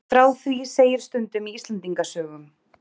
Frá því segir stundum í Íslendingasögum.